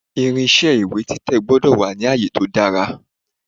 Irinṣé ìwé títẹ̀ gbọ́dọ̀ wà ni àyè tó dára.